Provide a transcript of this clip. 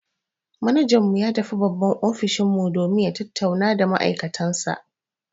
Manajan mu ya tafi babban ofishin mu domin ya tattauna da ma'aikatansu.